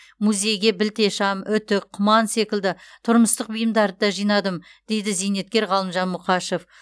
музейге білте шам үтік құман секілді тұрмыстық бұйымдарды да жинадым дейді зейнеткер ғалымжан мұқашев